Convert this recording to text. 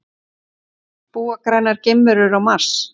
Búa grænar geimverur á Mars?